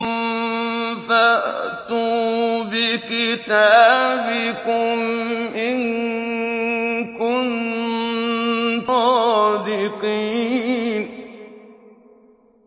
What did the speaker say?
فَأْتُوا بِكِتَابِكُمْ إِن كُنتُمْ صَادِقِينَ